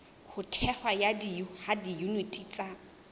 ho thehwa ha diyuniti tsa